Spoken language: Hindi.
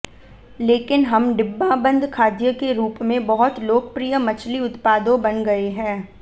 लेकिन हम डिब्बाबंद खाद्य के रूप में बहुत लोकप्रिय मछली उत्पादों बन गए हैं